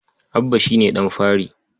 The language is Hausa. Abba shi ne ɗan fari.